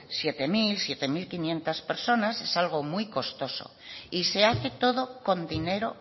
sietecero sietequinientos personas es algo muy costoso y se hace todo con dinero